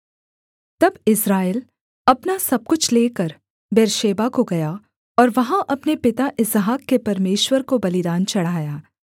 तब इस्राएल अपना सब कुछ लेकर बेर्शेबा को गया और वहाँ अपने पिता इसहाक के परमेश्वर को बलिदान चढ़ाया